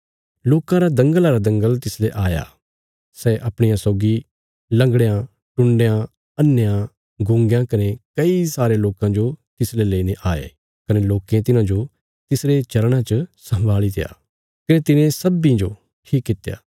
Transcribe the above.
लोकां रा दंगला रा दंगल तिसले आया सै अपणिया सौगी लंगड़यां टुण्डयां अन्हेयां गूँगयां कने कई सारे लोकां जो तिसले लेईने आये कने लोकें तिन्हांजो तिसरे चरणां च सम्भालित्या कने तिने सब्बीं जो ठीक कित्या